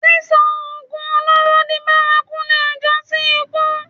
Sísọ oògùn olóró di bárakú lè jásí ikú